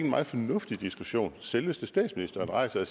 meget fornuftig diskussion selveste statsministeren rejser